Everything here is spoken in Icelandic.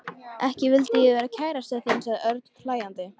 Ekki vildi ég vera kærastan þín sagði Örn hlæjandi.